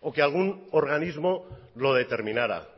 o que algún organismo lo determinara